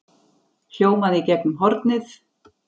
hljómaði í gegnum hornið.